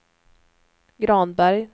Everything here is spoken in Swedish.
Granberg